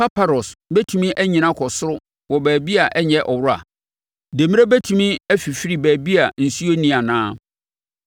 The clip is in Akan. Paparɔs bɛtumi anyini akɔ soro wɔ baabi a ɛnyɛ ɔwora? Demmire bɛtumi afifiri baabi a nsuo nni anaa?